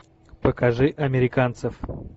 покажи американцев